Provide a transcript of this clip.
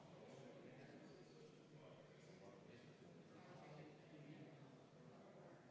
Selle on esitanud majanduskomisjon, juhtivkomisjon on arvestanud täielikult.